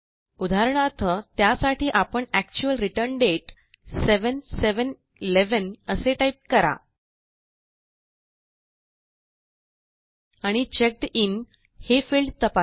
उदाहरणार्थ त्यासाठी आपण एक्चुअल रिटर्न दाते 7711 असे टाईप करा आणि चेक्ड इन हे फील्ड तपासा